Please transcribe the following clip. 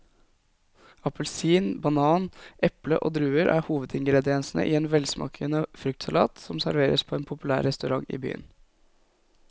Appelsin, banan, eple og druer er hovedingredienser i en velsmakende fruktsalat som serveres på en populær restaurant i byen.